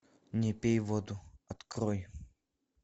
не пей воду открой